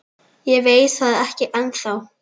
Ég veit það ekki ennþá.